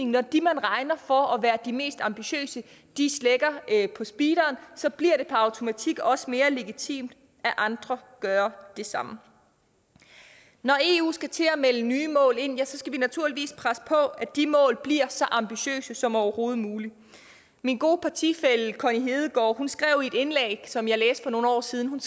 når de man regner for at være de mest ambitiøse slækker på speederen så bliver det per automatik også mere legitimt at andre gør det samme når eu skal til at melde nye mål ind ja så skal vi naturligvis presse på for at de mål bliver så ambitiøse som overhovedet muligt min gode partifælle connie hedegaard skrev i et indlæg som jeg læste for nogle år siden